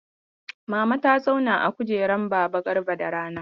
Mama ta zauna a kujerar baba Garba da rana.